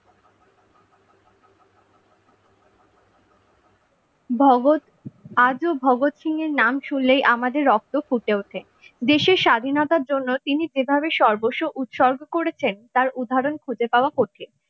ভগৎ আজও ভগৎ সিং এর নাম শুনলে আমাদের রক্ত ফুটে ওঠে দেশের স্বাধীনতার জন্য তিনি যেভাবে সর্বস্ব উৎসর্গ করেছেন তার উদাহরণ খুঁজে পাওয়া কঠিন ।